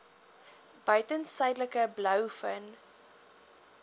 buiten suidelike blouvin